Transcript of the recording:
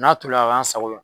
N'a tolila ka k'an sago la